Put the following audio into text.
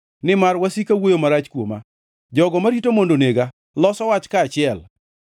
Nimar wasika wuoyo marach kuoma; jogo marita mondo onega loso wach kaachiel.